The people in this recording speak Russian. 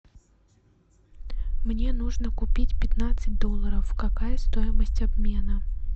мне нужно купить пятнадцать долларов какая стоимость обмена